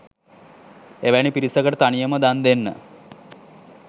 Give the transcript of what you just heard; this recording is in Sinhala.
එවැනි පිරිසකට තනියම දන් දෙන්න